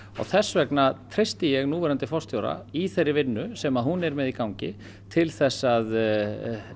þess vegna treysti ég núverandi forstjóra í þeirri vinnu sem hún er með í gangi til að